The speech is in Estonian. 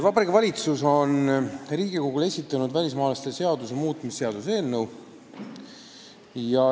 Vabariigi Valitsus on Riigikogule esitanud välismaalaste seaduse muutmise seaduse eelnõu.